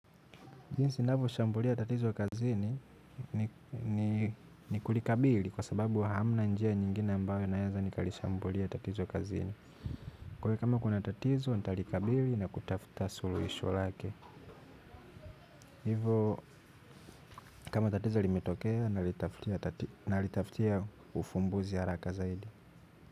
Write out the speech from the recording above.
Jinsi navoshambulia tatizo kazini ni ni kulikabili kwa sababu hamna njia nyingine ambayo inaeza nikalishambulia tatizo kazini. Kwaio kama kuna tatizo nitalikabili na kutafuta suluhisho lake. Hivo kama tatizo limetokea nalitaftia ufumbuzi haraka zaidi.